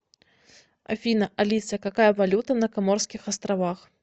афина алиса какая валюта на коморских островах